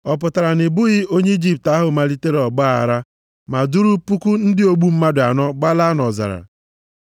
Ọ pụtara na ị bụghị onye Ijipt ahụ malitere ọgbaaghara ma duuru puku ndị ogbu mmadụ anọ gbalaa nʼọzara?”